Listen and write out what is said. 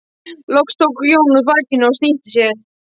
Loks rétti Jón úr bakinu og snýtti sér.